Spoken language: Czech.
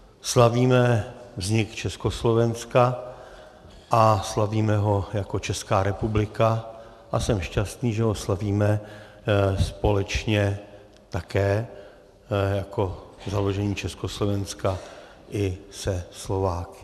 Slavíme vznik Československa a slavíme ho jako Česká republika a jsem šťastný, že ho slavíme společně také jako založení Československa i se Slováky.